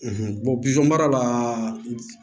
bisɔn mara la